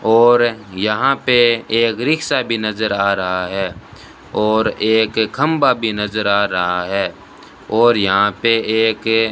और यहां पे एक रिक्शा भी नजर आ रहा है और एक खंभा भी नजर आ रहा है और यहां पे एक --